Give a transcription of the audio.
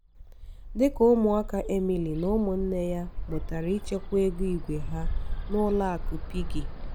dịka ụmụaka emily na ụmụnne ya mụtara ịchekwa ego igwēha n'ụlọ akụ piggy.